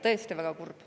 Tõesti on väga kurb.